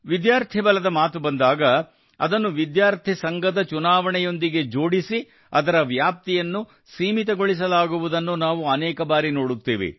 ವಿದ್ಯಾರ್ಥಿ ಬಲದ ಮಾತು ಬಂದಾಗ ಅದನ್ನು ವಿದ್ಯಾರ್ಥಿ ಸಂಘದ ಚುನಾವಣೆಯೊಂದಿಗೆ ಜೋಡಿಸಿ ಅದರ ವ್ಯಾಪ್ತಿಯನ್ನು ಸೀಮಿತಗೊಳಿಸಲಾಗುವುದನ್ನು ನಾವು ಅನೇಕ ಬಾರಿ ನೋಡುತ್ತೇವೆ